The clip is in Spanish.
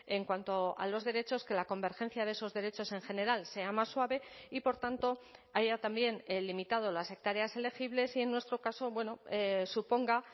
en cuanto a los derechos que la convergencia de esos derechos en general sea más suave y por tanto haya también limitado las hectáreas elegibles y en nuestro caso suponga